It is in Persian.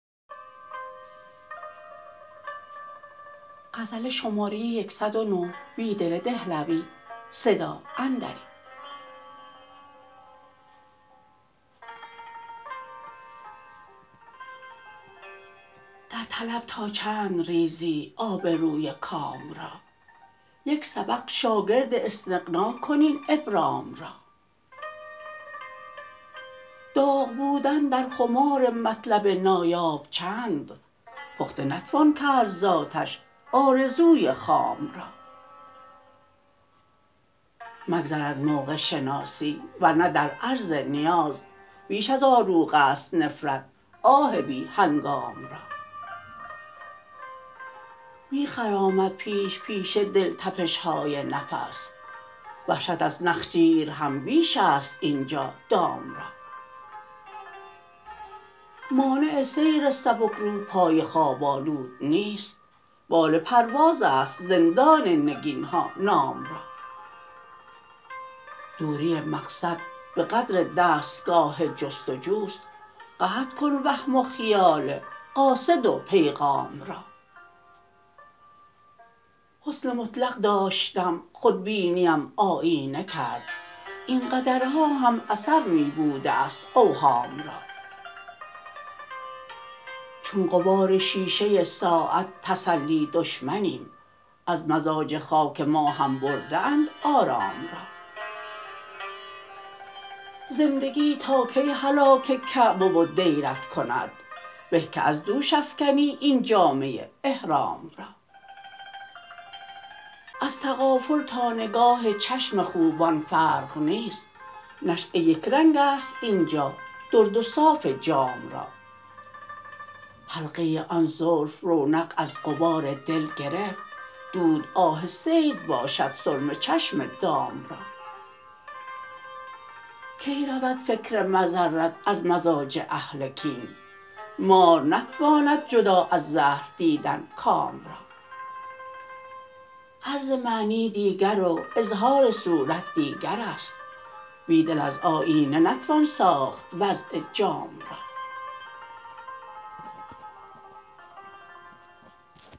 در طلب تا چند ریزی آبروی کام را یک سبق شاگرد استغناکن این ابرام را داغ بودن در خمار مطلب نایاب چند پخته نتوان کرد زآتش آرزوی خام را مگذر ازموقع شناسی ورنه در عرض نیاز بیش ازآروغ است نفرت آه بی هنگام را می خرامد پیش پیش دل تپشهای نفس وحشت از نخجیر هم بیش است اینجا دام را مانع سیر سبکرو پای خواب آلود نیست بال پروازست زندان نگینها نام را دوری مقصد به قدر دستگاه جستجوست قطع کن وهم و خیال قاصد وپیغام را حسن مطلق داشتم خودبینی ام آیینه کرد اینقدرها هم اثر می بوده است اوهام را چون غبار شیشه ساعت تسلی دشمنیم از مزاج خاک ما هم برده اند آرام را زندگی تاکی هلاک کعبه و دیرت کند به که از دوش افکنی این جامه احرام را ازتغافل تا نگاه چشم خوبان فرق نیست نشأه یکرنگ ا ست اینجا درد و صاف جام را حلقه آن زلف رونق از غبار دل گرفت دود آه صید باشد سرمه چشم دام را کی رود فکر مضرت از مزاج اهل کین مار نتواند جدا از زهر دیدن کام را عرض معنی دیگر و اظهار صورت دیگر است بیدل از آیینه نتوان ساخت وضع جام را